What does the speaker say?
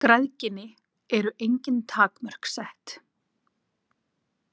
Græðginni eru engin takmörk sett.